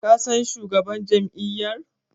Ka san shugaban jam'iyyar?